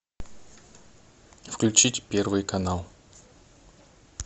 включить первый канал